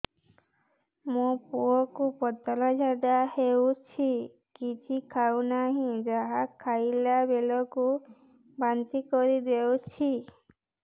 ମୋ ପୁଅ କୁ ପତଳା ଝାଡ଼ା ହେଉଛି କିଛି ଖାଉ ନାହିଁ ଯାହା ଖାଇଲାବେଳକୁ ବାନ୍ତି କରି ଦେଉଛି